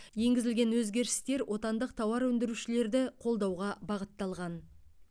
енгізілген өзгерістер отандық тауар өндірушілерді қолдауға бағытталған